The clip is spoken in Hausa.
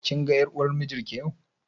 Kin ga ƴar uwar mijin ki yau?